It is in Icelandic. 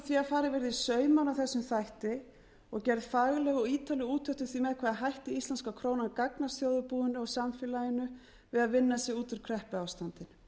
verði í saumana á þessum þætti og gerð fagleg og ítarleg úttekt á því með hvaða hætti íslenska krónan gagnast þjóðarbúinu og samfélaginu við að vinna sig út úr kreppuástandi